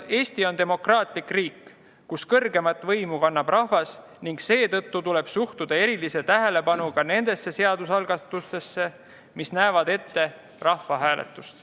Eesti on demokraatlik riik, kus kõrgeimat võimu kannab rahvas, ning seetõttu tuleb suhtuda erilise tähelepanuga nendesse seadusalgatustesse, mis näevad ette rahvahääletuse.